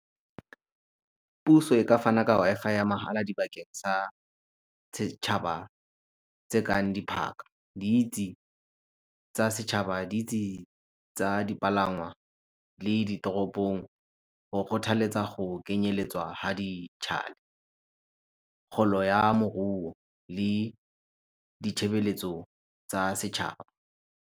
Puso e ka fana ka Wi-Fi ya mahala dibakeng sa setšhaba tse kang tsa setšhaba le tsa dipalangwa le ditoropong go kgothaletsa go kenyeletswa ga , kgolo ya moruo le tsa setšhaba.